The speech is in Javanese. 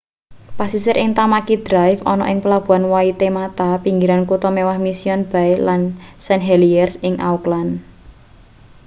pasisir ing tamaki drive ana ing pelabuhan waitemata pinggiran kutha mewah mission bay lan st heliers ing auckland